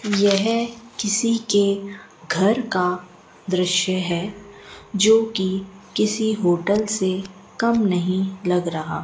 यह किसी के घर का दृश्य है जोकि किसी होटल से कम नहीं लग रहा।